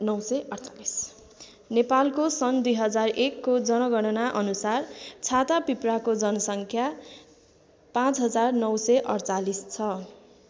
नेपालको सन् २००१ को जनगणना अनुसार छाता पिप्राको जनसङ्ख्या ५९४८ छ।